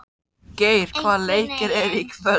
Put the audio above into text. Geir, hvaða leikir eru í kvöld?